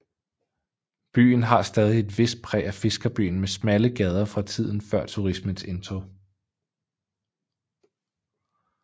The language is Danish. Byen har stadig et vist præg af fiskerbyen med smalle gader fra tiden før turismens indtog